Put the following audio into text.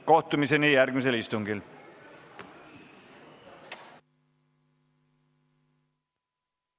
Kohtumiseni järgmisel istungil!